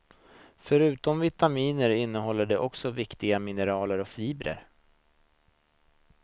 Förutom vitaminer innehåller de också viktiga mineraler och fibrer.